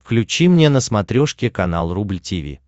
включи мне на смотрешке канал рубль ти ви